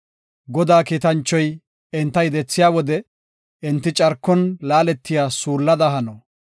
Godaa kiitanchoy enta yedethiya wode, enti carkon laaletiya suullada hano.